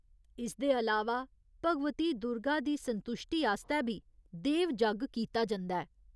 इसदे अलावा भगवती दुर्गा दी संतुश्टी आस्तै बी 'देव जग्ग' कीता जंदा ऐ।